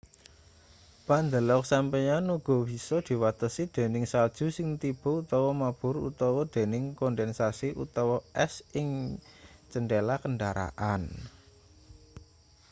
pandelok sampeyan uga bisa diwatesi dening salju sing tiba utawa mabur utawa dening kondensasi utawa es ing cendhela kendaraan